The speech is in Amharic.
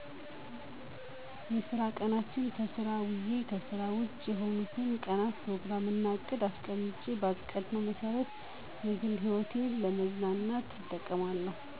የስራ ቀናትን ለስራ አዉየ ከስራ ዉጭ የሆኑትን ቀናት ፕሮግራም እና እቅድ አስቀምጬ ባቀድነው መሰረት የግል ህይወቴን ለመዝናኛ እጠቀማለሁ